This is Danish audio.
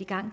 i gang